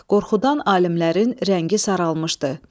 Qorxudan alimlərin rəngi saralmışdı.